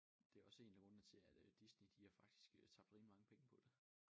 Det også en af grundene til at øh Disney de har faktisk øh tabt rimelig mange penge på det